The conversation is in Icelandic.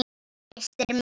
Hristir mig.